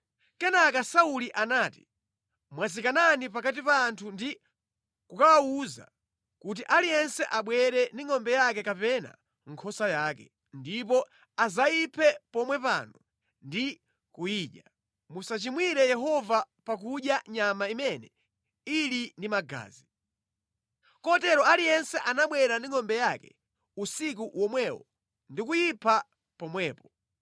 Kenaka Sauli anati, “Mwazikanani pakati pa anthu ndi kukawawuza kuti aliyense abwere ndi ngʼombe yake kapena nkhosa yake, ndipo adzayiphe pomwe pano ndi kuyidya. Musachimwire Yehova pakudya nyama imene ili ndi magazi.” Kotero aliyense anabwera ndi ngʼombe yake usiku womwewo ndi kuyipha pomwepo.